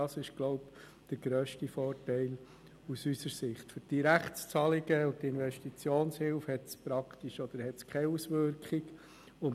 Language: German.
Auf Direktzahlungen und Investitionshilfen hat die Gesetzesänderung praktisch keine oder gar keine Auswirkungen.